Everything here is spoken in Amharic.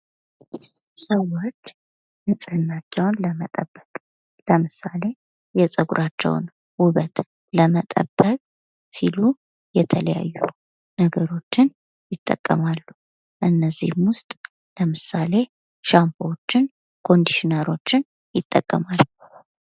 ሰዎች ንጽህናቸውን ለመጠበቅ ለምሳሌ የፀጉራቸውን ውበት ለመጠበቅ ሲሉ የተለያዩ ነገሮችን ይጠቀማሉ ። ከእነዚህም ውስጥ ለምሳሌ ሻምፖወችን ፣ ኮንዲሽነሮችን ይጠቀማሉ ።